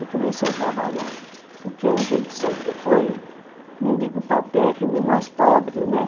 E comecei a trabalhar, porque a gente sempre foi, não digo paupérrimo, mas pobre, né?